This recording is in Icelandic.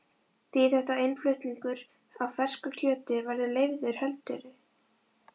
Þýðir þetta að innflutningur á fersku kjöti verði leyfður heldurðu?